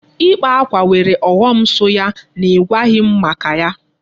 Ịkpa akwa nwere ọghọm so ya n'igwaghị m maka ya.